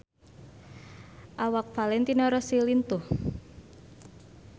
Awak Valentino Rossi lintuh